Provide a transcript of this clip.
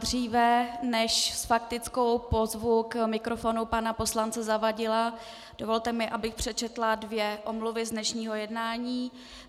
Dříve než s faktickou pozvu k mikrofonu pana poslance Zavadila, dovolte mi, abych přečetla dvě omluvy z dnešního jednání.